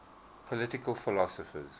political philosophers